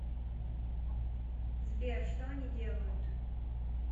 сбер что они делают